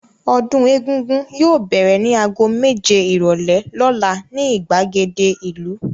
Ọdún Egúngún yóò bẹ̀rẹ̀ ní ago méje ìrọ́lẹ́ lọ́la ní ìgbàgede ìlú.